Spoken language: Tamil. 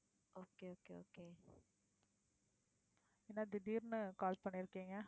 என்ன திடீர்ன்னு call பண்ணிருக்கீங்க?